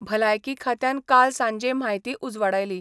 भलायकी खात्यान काल सांजे म्हायती उजवाडायली.